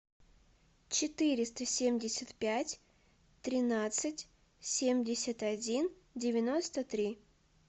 четыреста семьдесят пять тринадцать семьдесят один девяносто три